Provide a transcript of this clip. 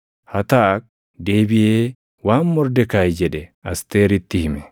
Hataak deebiʼee waan Mordekaayi jedhe Asteeritti hime.